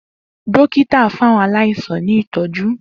Dokita fun awọn alaisan ni itọju.